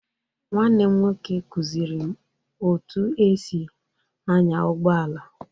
Nwanne m nwoke kụziiri m otú e si anya ụgbọ ala.